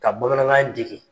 Ka bamanankan in dege.